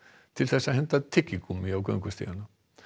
til að henda tyggigúmmíi á göngustígana